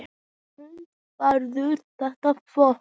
Hödd: Verður þetta flott?